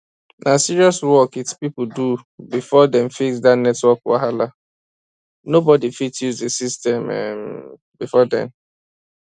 na serious work it people do before dem fix that network wahala nobody fit use the system um before then